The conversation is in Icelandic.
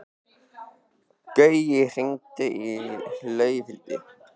Gaui, hringdu í Laufhildi.